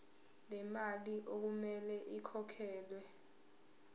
lemali okumele ikhokhelwe